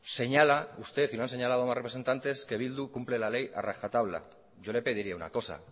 señala usted y me han señalado más representantes que bildu cumple la ley a rajatabla yo le pediría una cosa